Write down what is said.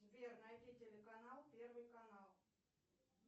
сбер найди телеканал первый канал